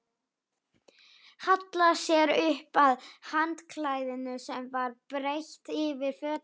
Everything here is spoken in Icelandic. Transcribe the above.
Hallaði sér upp að handklæðinu sem var breitt yfir fötin.